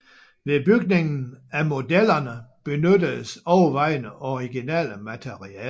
Ved bygningen af modellerne benyttedes overvejende originale materialer